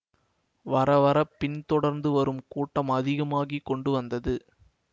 வரவரப் பின் தொடர்ந்து வரும் கூட்டம் அதிகமாகி கொண்டு வந்தது